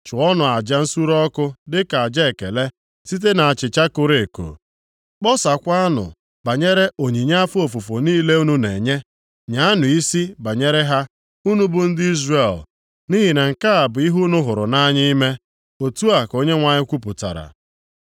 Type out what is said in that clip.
Chụọnụ aja nsure ọkụ dịka aja ekele, site nʼachịcha koro eko; kpọsaakwanụ banyere onyinye afọ ofufu niile unu na-enye, nyaanụ isi banyere ha, unu bụ ndị Izrel, nʼihi na nke a bụ ihe unu hụrụ nʼanya ime.” Otu a ka Onyenwe anyị kwupụtara.